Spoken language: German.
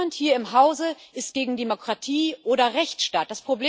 Niemand hier im Hause ist gegen Demokratie oder Rechtsstaat.